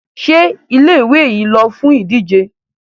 Ṣé ilé-ìwé yín lọ fún ìdíje?